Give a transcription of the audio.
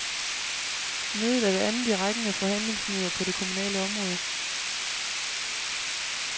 Mødet er det andet i rækken af forhandlingsmøder på det kommunale område.